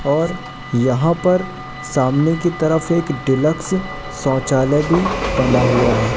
और यहां पर सामने की तरफ एक डीलक्स शौचालय भी बना हुआ है।